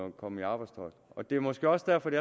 at komme i arbejdstøjet og det er måske også derfor det